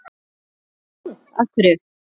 Nú. af hverju?